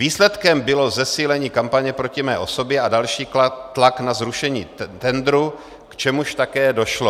Výsledkem bylo zesílení kampaně proti mé osobě a další tlak na zrušení tendru, k čemuž také došlo.